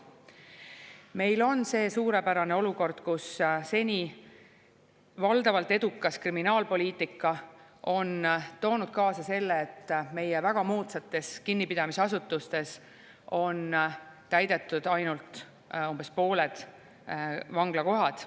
Meil on see suurepärane olukord, kus seni valdavalt edukas kriminaalpoliitika on toonud kaasa selle, et meie väga moodsates kinnipidamisasutustes on täidetud ainult umbes pooled vanglakohad.